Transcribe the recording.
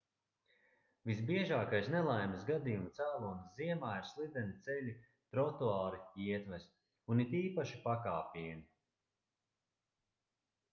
visbiežākais nelaimes gadījumu cēlonis ziemā ir slideni ceļi trotuāri ietves un it īpaši pakāpieni